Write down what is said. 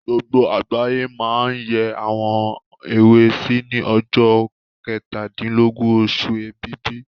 Gbogbo àgbáyé máa n yẹ́ àwọn èwe sí ní ọjọ́ kẹtàdílọ́gbọ̀n oṣù Ẹ̀bìbì